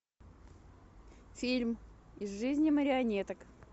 фильм из жизни марионеток